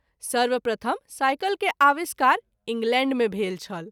सर्वप्रथम साइकिल के आविष्कार इंग्लैंड मे भेल छल।